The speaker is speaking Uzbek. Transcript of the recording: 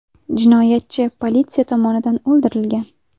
Jinoyatchi politsiya tomonidan o‘ldirilgan.